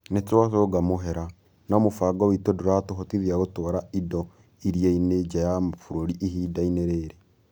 Nĩ twacūnga mũhera, no mũbango witũ ndũratũhotithia gũtwara indo iria-inĩ nja ya mabũrũri ihinda-inĩ rĩrĩ.